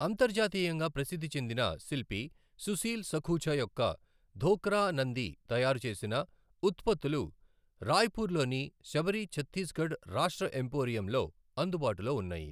అంతర్జాతీయంగా ప్రసిద్ధి చెందిన శిల్పి సుశీల్ సఖూజ యొక్క ధోక్రా నంది తయారుచేసిన ఉత్పత్తులు రాయ్పూర్లోని శబరి ఛత్తీస్గఢ్ రాష్ట్ర ఎంపోరియంలో అందుబాటులో ఉన్నాయి.